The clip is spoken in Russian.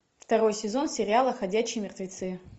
второй сезон сериала ходячие мертвецы